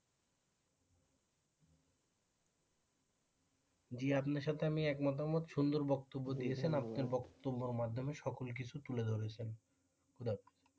যে আমি আপনার সাথে আমি একমত সুন্দর বক্তব্য দিয়েছেন আপনি আপনার বক্তব্যের মাধ্যমে সকল কিছু তুলে ধরেছেন।